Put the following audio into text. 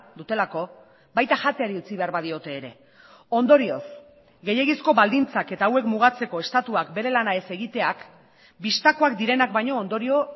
dutelako baita jateari utzi behar badiote ere ondorioz gehiegizko baldintzak eta hauek mugatzeko estatuak bere lana ez egiteak bistakoak direnak baino ondorio